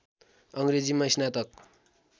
अङ्ग्रेजीमा स्नातक